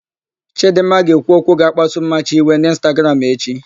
Chidịmma ga-ekwu okwu ga-akpasu Mmachi iwe n'ịnstagram echi.